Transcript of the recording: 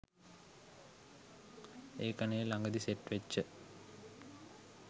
ඒකනේ ලඟදි සෙට් වෙච්ච